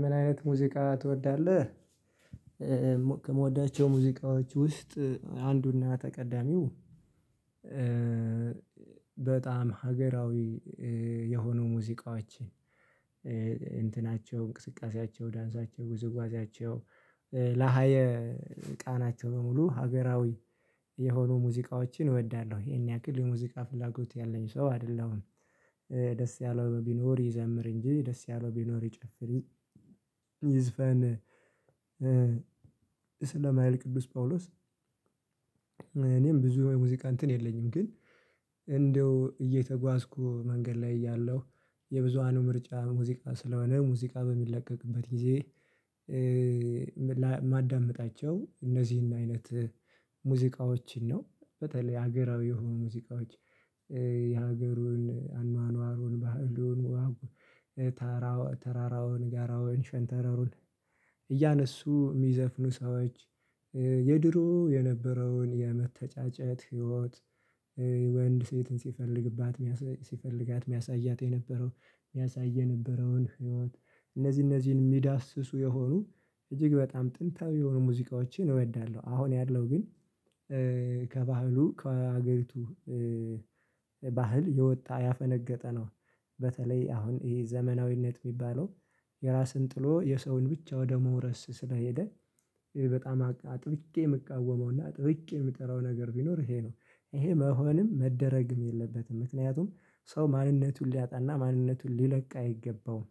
ምን አይነት ሙዚቃ ትወዳለህ? ከምወዳቸው ሙዚቃዎች ውስጥ አንዱና ቀዳሚው በጣም ሀገራዊ የሆኑ ሙዚቃዎች እንትናቸው እንቅስቃሴያቸው ዳንሳቸው ውዝዋዚያቸው ለሃየ ቃናቸው በሙሉ ሀገራዊ የሆኑ ሙዚቃዎችን እወዳለሁ። ይሄን ያክል የሙዚቃ ፍላጎት ያለኝ ሰው አይደለሁም። ደስ ያለው ቢኖር ይዘምር እንጂ ደስ ያለው ቢኖር ይጨፍር ይዝፈን። ስለማይል ቅዱስ ጳውሎስ እኔም ብዙ የሙዚቃ እንትን የለኝም። ግን እንደው እየተጓዝኩ መንገድ ላይ እያለሁ የብዙሃኑ ምርጫ ሙዚቃ ስለሆነ ሙዚቃ በሚለቀቅበት ጊዜ ማዳምጣቸው እነዚህን አይነት ሙዚቃዎችን ነው። በተለይ ሀገራዊ የሆኑ ሙዚቃዎች የሀገሩን አኗኗሩን ባህሉን ተራራውን ጋራውን ሸንተረሩን እያነሱ የሚዘፍኑ ሰዎች። የድሮ የነበረውን የመተጫጨት ህይወት ወንድ ሴትን ሲፈልግባት ሲፈልጋት የሚያሳያት የነበረው የሚያሳይ የነበረውን ህይወት እነዚህ እነዚህን የሚዳስሱ የሆኑ እጅግ በጣም ጥንታዊ የሆኑ ሙዚቃዎችን እወዳለሁ። አሁን ያለው ግን ከባህሉ ከሀገሪቱ ባህል የወጣ ያፈነገጠ ነው። በተለይ አሁን ይሄ ዘመናዊነት የሚባለው የራስን ጥሎ የሰውን ብቻ ወደ መውረስ ስለሄደ በጣም አጥብቄ የምቃወመውና አጥብቄ የምጠላው ነገር ቢኖር ይሄ ነው። ይሄ መሆንም መደረግም የለበትም ምክንያቱም ሰው ማንነቱን ሊያጣና ማንነቱን ሊለቅ አይገባውም።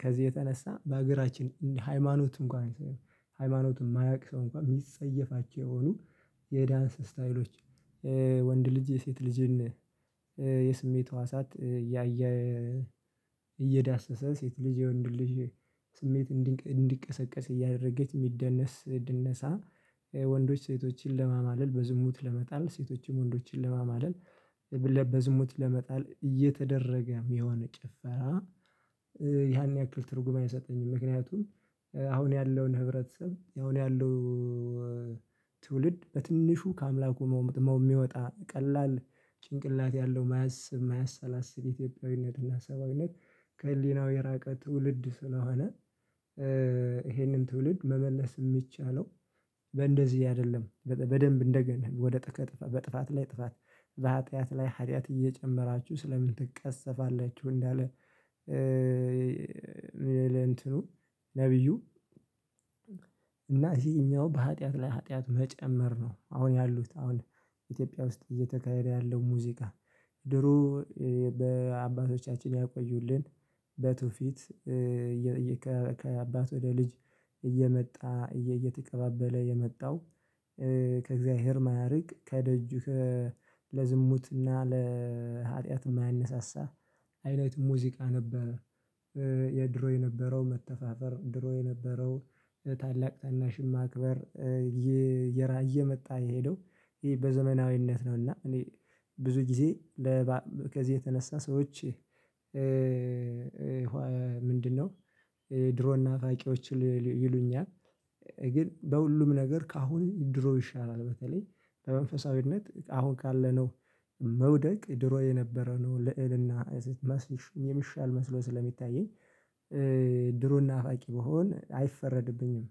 ከዚህ የተነሳ በሀገራችን ሃይማኖት እንኳን ሃይማኖቱን የማያውቅ ሰው እንኳን የሚጸየፋቸው የሆኑ የዳንስ ስታይሎች ወንድ ልጅ የሴት ልጅን የስሜት ህዋሳት እያየ እየዳሰሰ ሴት ልጅ የወንዱ ልጅ። ስሜት እንዲቀሰቀስ እያደረገች የሚደነስ ድነሳ ወንዶች ሴቶችን ለማማለል በዝሙት ለመጣል ሴቶችም ወንዶችን ለማማለል በዝሙት ለመጣል እየተደረገ የሚሆን ጭፈራ። ያን ያክል ትርጉም አይሰጠኝም ምክንያቱም አሁን ያለውን ህብረተሰብ አሁን ያሉ ትውልድ በትንሹ ከአምላኩ የሚወጣ ቀላል ጭንቅላት ያለው የማያስብ የማያሰላስል ኢትዮጵያዊነት እና ሰብአዊነት። ከህሊናው የራቀ ትውልድ ስለሆነ። ይሄንን ትውልድ መመለስ የሚቻለው በእንደዚህ አይደለም በደንብ እንደገና ወደ ጥፋት ላይ ጥፋት። በሀጥያት ላይ ሀጥያት እየጨመራችሁ ስለምን ትቀፀፋላችሁ? እንዳለ እንትኑ ነብዩ እና ይሄኛው በሀጥያት ላይ ሀጥያት መጨመር ነው አሁን ያሉት አሁን ኢትዮጵያ ውስጥ እየተካሄደ ያለው ሙዚቃ። ድሮ በአባቶቻችን ያቆዩልን በቱፊት ከአባት ወደ ልጅ እየመጣ እየተቀባበለ የመጣው ከእግዚአብሔር የማያርቅ ከደጁ ከ ለዝሙትና ለሀጢያት የማያነሳሳ አይነት ሙዚቃ ነበረ። የድሮ የነበረው መተፋፈር ድሮ የነበረው ታላቅ ታናሽ ማክበር እየመጣ የሄደው ይሄ በዘመናዊነት ነው። እና እኔ ብዙ ጊዜ ከዚህ የተነሳ ሰዎች ምንድነው? ድሮ እና ፋቂዎች ይሉኛል ግን በሁሉም ነገር ከአሁን ድሮ ይሻላል። በተለይ በመንፈሳዊነት አሁን ካለነው መውደቅ ድሮ የነበረ ነው። ለእልና መስልሽ የሚሻል መስሎ ስለሚታየኝ ድሮና ፋቂ ብሆን አይፈረድብኝም።